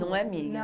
Não é minha.